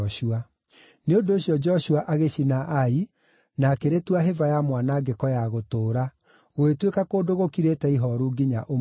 Nĩ ũndũ ũcio Joshua agĩcina Ai na akĩrĩtua hĩba ya mwanangĩko ya gũtũũra, gũgĩtuĩka kũndũ gũkirĩte ihooru nginya ũmũthĩ.